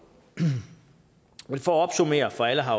for at opsummere for alle har